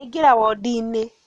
Aingĩra wondi-inĩ